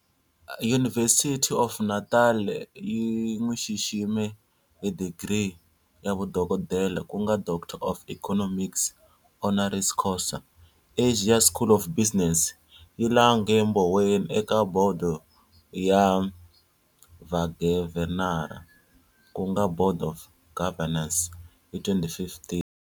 University of Natal yi n'wi xixime hi digri ya vudokodela ku nga Doctor of Economics, honoris causa. Asia School of Business yi lange Mboweni eka Bodo ya Vagavhenara ku nga Board of Governors hi 2015.